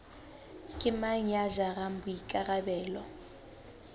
ke mang ya jarang boikarabelo